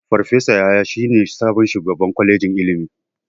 Farfesa Yahaya shine sabon shugaban kwalejin ilimin.